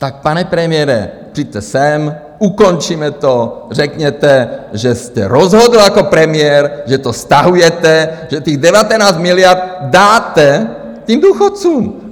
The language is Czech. Tak pane premiére, přijďte sem, ukončíme to, řekněte, že jste rozhodl jako premiér, že to stahujete, že těch 19 miliard dáte těm důchodcům.